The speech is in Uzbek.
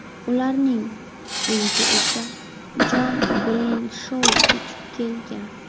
Ularning uyiga esa Jon Breyshou ko‘chib kelgan.